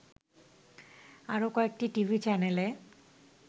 আরো কয়েকটি টিভি চ্যানেলে